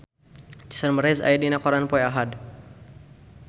Jason Mraz aya dina koran poe Ahad